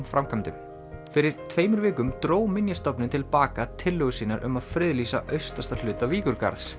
framkvæmdunum fyrir tveimur vikum dró Minjastofnun til baka tillögur sínar um að friðlýsa austasta hluta